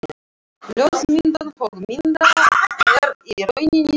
Ljósmyndun höggmynda er í rauninni sérgrein.